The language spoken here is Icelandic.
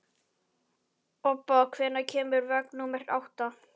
Obba, hvenær kemur vagn númer átta?